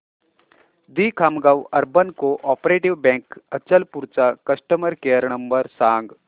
दि Khamgaon urban cooperative bank Achalpur चा customer care number सांग